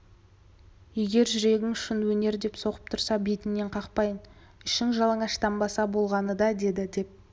егер жүрегің шын өнер деп соғып тұрса бетіңнен қақпайын ішің жалаңаштанбаса болғаны да деді деп